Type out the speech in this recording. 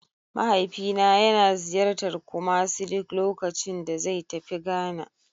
Mahaifina yana ziyartar Kumasi duk lokacin da zai tafi Ghana.